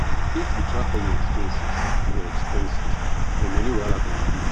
if you track all your expenses your expenses your money wahala go reduce